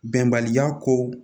Bɛnbaliya ko